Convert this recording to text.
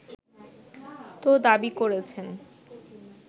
তো দাবি করছেন